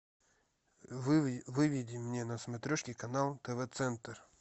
выведи мне на смотрешке канал тв центр